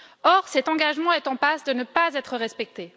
Or, cet engagement est en passe de ne pas être respecté.